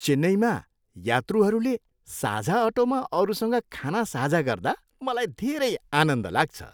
चेन्नईमा यात्रुहरूले साझा अटोमा अरूसँग खाना साझा गर्दा मलाई धेरै आनन्द लाग्छ।